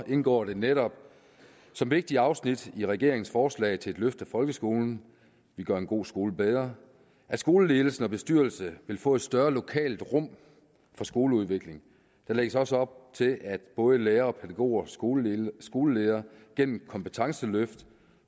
indgår det netop som vigtige afsnit i regeringens forslag til et løft af folkeskolen gør en god skole bedre at skoleledelse og bestyrelse vil få et større lokalt rum for skoleudvikling der lægges også op til at både lærere pædagoger og skoleledere skoleledere gennem kompetenceløft